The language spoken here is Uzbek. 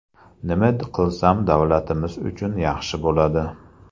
Nima qilsam davlatimiz uchun yaxshi bo‘ladi?